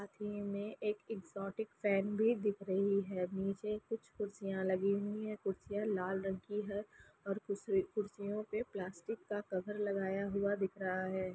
साथ ही में एक एग्जॉस्ट फैन भी दिख रही है नीचे कुछ कुर्सियाँ लगी हुई हैं कुर्सियाँ लाल रंग की हे और कु कुर्सियाँ पे प्लास्टिक का कवर लगा हुआ दिख रहा है।